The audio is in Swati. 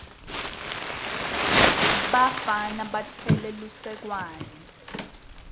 bafana batfwele lisekwane